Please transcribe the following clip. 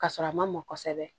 Ka sɔrɔ a ma mɔ kosɛbɛ